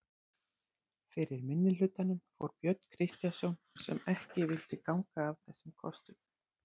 Fyrir minnihlutanum fór Björn Kristjánsson sem ekki vildi ganga að þessum kostum.